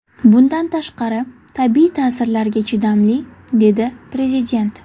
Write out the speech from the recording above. Bundan tashqari, tabiiy ta’sirlarga chidamli”, dedi Prezident.